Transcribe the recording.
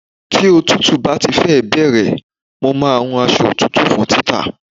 Tí òtútù bá ti fẹ́ bẹ̀rẹ̀, mo máa wun aṣọ òtútù fún títà.